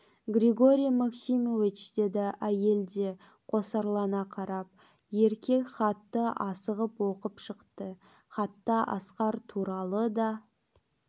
григорий максимович деді әйел де қосарлана қарап еркек хатты асығып оқып шықты хатта асқар туралы да